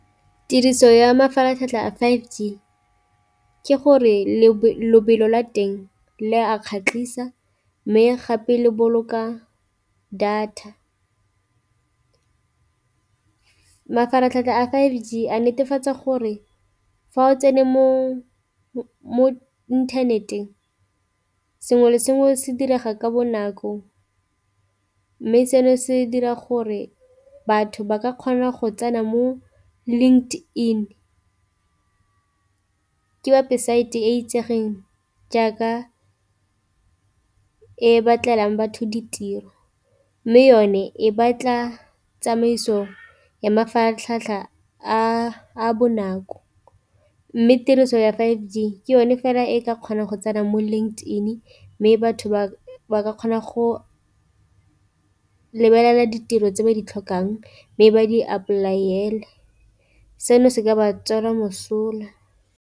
Tiriso ya mafaratlhatlha a five G ke gore lebelo la teng le a kgatlhisa, mme gape le boloka data. Mafaratlhatlha a five G a netefatsa gore fa o tsene mo internet-eng sengwe le sengwe se direga ka bonako, mme seno se dira gore batho ba ka kgona go tsena mo LinkedIn ke website e itsegeng jaaka e batlelang batho ditiro. Mme yone e batla tsamaiso ya mafaratlhatlha a bonako, mme tiriso ya five G ke yone fela e ka kgona go tsena mo LinkedIn mme batho ba ba kgona go lebelela ditiro tse ba di tlhokang, mme ba di apply-ele seno se ka ba tswela mosola.